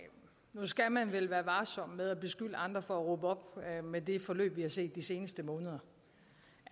nu skal man vel være varsom med at beskylde andre for at råbe op med det forløb vi har set de seneste måneder